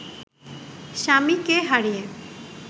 স্বামীকে হারিয়ে